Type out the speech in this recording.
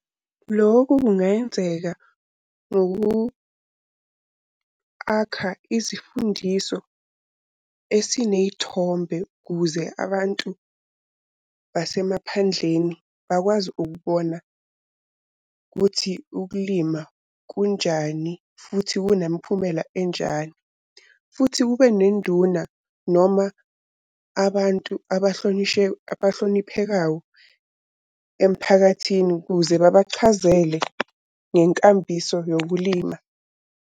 Lokhu kungenzeka ngoku-akha izifundiso esiney'thombe ukuze abantu basemaphandleni bakwazi ukubona kuthi ukulima kunjani, futhi kunemiphumela enjani. Futhi kube nenduna, noma abantu abahloniphekawo emphakathini kuze babachazele ngenkambiso yokulima.